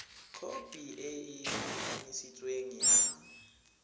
khopi e e kanisitsweng ya